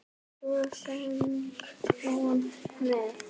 Og svo söng hún með.